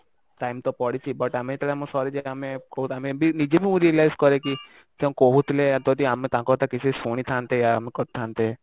time ତ ପଡିଛି but ଆମେ ଯେତେବେଳେ ଆମେ ସରିଯାଏ ଆମେ Thud ଆମେ ବି ନିଜେ ବି ମୁଁ realise କରେ କି ସେ କହୁଥିଲେ ଯଦି ଆମେ ତାଙ୍କ କଥା କିଛି ଶୁଣି ଥାନ୍ତେ କରିଥାନ୍ତେ